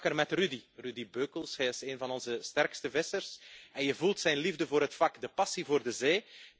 Ik sprak er met Rudy Beuckels. Hij is een van onze sterkste vissers en je voelt zijn liefde voor het vak, de passie voor de zee.